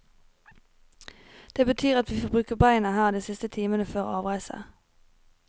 Det betyr at vi får bruke beina her de siste timene før avreise.